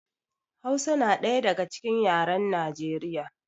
Hausa na ɗaya daga cikin yaran Nijeriya